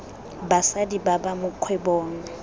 basadi ba ba mo kgwebong